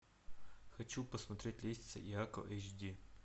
хочу посмотреть лестница иакова эйч ди